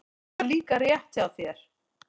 Það var líka rétt hjá þér.